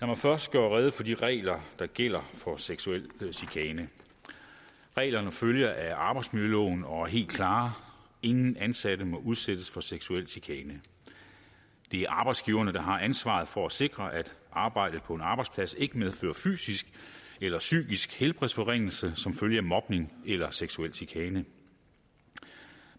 mig først gøre rede for de regler der gælder for seksuel chikane reglerne følger af arbejdsmiljøloven og er helt klare ingen ansatte må udsættes for seksuel chikane det er arbejdsgiverne der har ansvaret for at sikre at arbejdet på en arbejdsplads ikke medfører fysisk eller psykisk helbredsforringelse som følge af mobning eller seksuel chikane